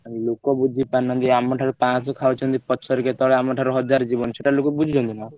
ଲୋକ ବୁଝିପାରୁନାହାନ୍ତି ଆମ ଠାରୁ ପାଂଶହ ଖାଉଛନ୍ତି। ପଛରେ କେତବେଳେ ଆମ ଠାରୁ ହଜାର ଯିବ ସେଇଟା ଲୋକ ବୁଝୁଛନ୍ତି ନା।